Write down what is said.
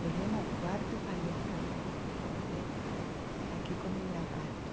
Cheguei no quarto e falei para Roberto, Roberto, aqui comem lagarto.